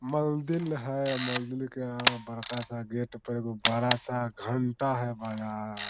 मंदिर है मंदिर के यहाँ बड़का सा गेट पे एगो बड़ा सा घंटा है बजा ।